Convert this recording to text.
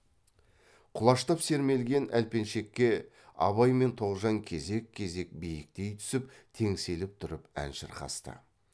құлаштап сермелген әлпеншекке абай мен тоғжан кезек кезек биіктей түсіп теңселіп тұрып ән шырқасты